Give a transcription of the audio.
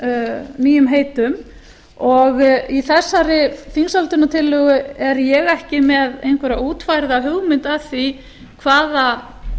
að nýjum heitum og í þessari þingsályktunartillögu er ég ekki með einhverja útfærða hugmynd að því hvaða